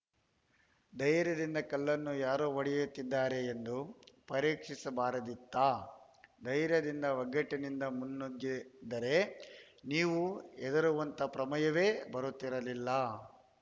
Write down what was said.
ಧೈರ್ಯದಿಂದ ಕಲ್ಲನ್ನು ಯಾರು ಹೊಡೆಯುತ್ತಿದ್ದಾರೆ ಎಂದು ಪರೀಕ್ಷಿಸಿಬಾರದಿತ್ತಾ ಧೈರ್ಯದಿಂದ ಒಗ್ಗಟ್ಟಿನಿಂದ ಮುನ್ನುಗ್ಗಿದ್ದರೆ ನೀವು ಹೆದರುವಂತ ಪ್ರಮೇಯವೇ ಬರುತ್ತಿರಲಿಲ್ಲ